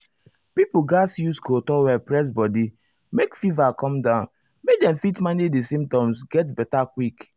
pipo gatz use cold towel press body make fever come down make dem fit manage di symptoms get beta quick.